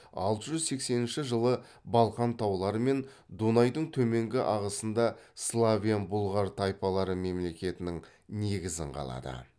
алты жүз сексенінші жылы балқан таулары мен дунайдың төменгі ағысында славян бұлғар тайпалары мемлекетінің негізін қалады